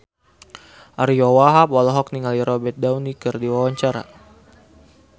Ariyo Wahab olohok ningali Robert Downey keur diwawancara